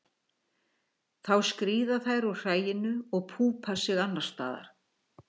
Þá skríða þær úr hræinu og púpa sig annars staðar.